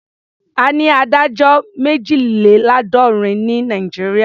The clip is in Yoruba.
A ní adájọ́ méjìléláàádọ́rin ní Nàìjíríà.